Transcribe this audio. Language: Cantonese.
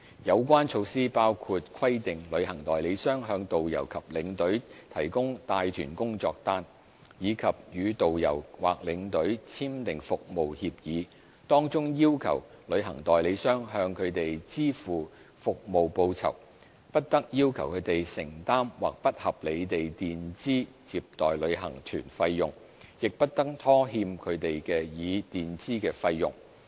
有關措施包括規定旅行代理商向導遊或領隊提供帶團工作單，以及與導遊或領隊簽訂服務協議，當中要求旅行代理商向他們支付服務報酬、不得要求他們承擔或不合理地墊支接待旅行團費用，亦不得拖欠他們已墊支的費用。